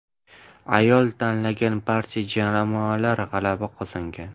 Ayol tanlagan barcha jamoalar g‘alaba qozongan.